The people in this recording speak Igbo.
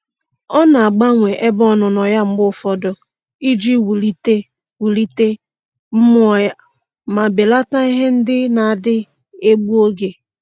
Ọ na-agbanwe ebe ọnụnọ ya mgbe ụfọdụ iji wulite wulite mmụọ ya ma belata ihe ndị na-adị egbu oge.